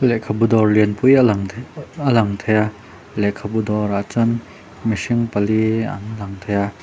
lehkhabu dawr lianpui a lang the a lang thei a lehkhabu dawrah chuan mihring pali an lang thei a.